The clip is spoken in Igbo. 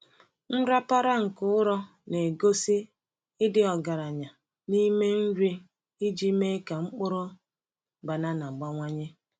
Nrapara nke ụrọ na-egosi ịdị ọgaranya n’ime nri iji mee ka mkpụrụ banana bawanye.